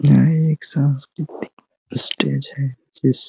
यह एक सांस्कृतिक स्टेज है। जिस --